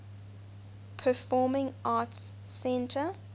performing arts center